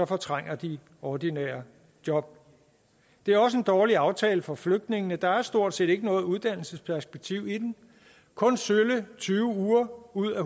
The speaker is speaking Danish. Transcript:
fortrænger de ordinære job det er også en dårlig aftale for flygtningene der er stort set ikke noget uddannelsesperspektiv i den kun i sølle tyve uger ud af